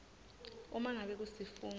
uma ngabe kusifungo